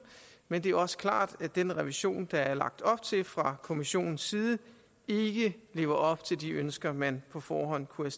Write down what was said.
men det er også klart at den revision der er lagt op til fra kommissionens side ikke lever op til de ønsker man på forhånd kunne